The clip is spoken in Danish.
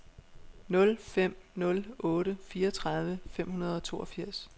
nul fem nul otte fireogtredive fem hundrede og toogfirs